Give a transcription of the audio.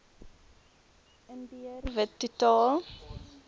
indiër wit totaal